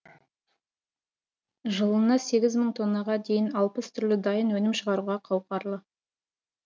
жылына сегіз мың тоннаға дейін алпыс түрлі дайын өнім шығаруға қауқарлы